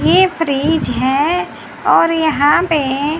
ये फ्रिज है और यहां पे--